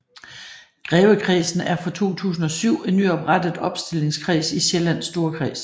Grevekredsen er fra 2007 en nyoprettet opstillingskreds i Sjællands Storkreds